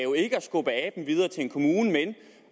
skubbe aben videre til en kommune men